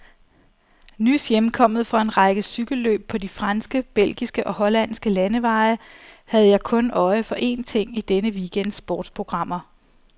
Nys hjemkommet fra en række cykelløb på de franske, belgiske og hollandske landeveje havde jeg kun øje for én ting i denne weekends sportsprogrammer.